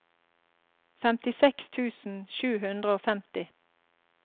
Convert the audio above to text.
femtiseks tusen sju hundre og femti